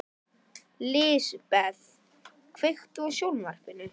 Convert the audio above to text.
Lisbeth, kveiktu á sjónvarpinu.